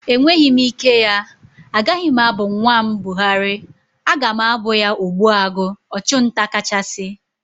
Enweghị m ike ya. Agaghị m abụ nwa m Buhari, aga m abụ ya Ogbuagu (Ọchụ nta kachasị)